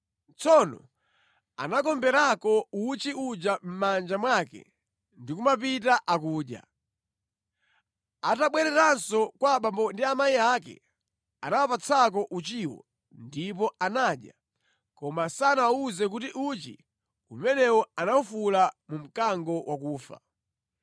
Tsono anakomberako uchi uja mʼmanja mwake ndi kumapita akudya. Atabwereranso kwa abambo ndi amayi ake, anawapatsako uchiwo ndipo anadya. Koma sanawawuze kuti uchi umenewo anawufula mu mkango wakufa.